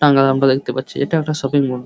টাঙ্গাল আমরা দেখতে পাচ্ছি এটা একটা শপিং মল ।